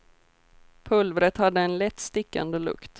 Pulvret hade en lätt stickande lukt.